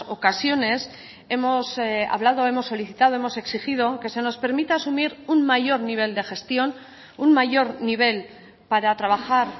ocasiones hemos hablado hemos solicitado hemos exigido que se nos permita asumir un mayor nivel de gestión un mayor nivel para trabajar